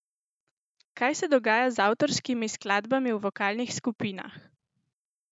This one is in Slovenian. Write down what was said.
Kaj se dogaja z avtorskimi skladbami v vokalnih skupinah?